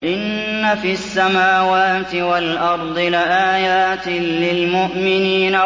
إِنَّ فِي السَّمَاوَاتِ وَالْأَرْضِ لَآيَاتٍ لِّلْمُؤْمِنِينَ